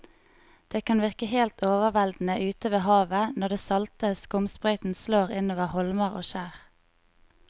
Det kan virke helt overveldende ute ved havet når den salte skumsprøyten slår innover holmer og skjær.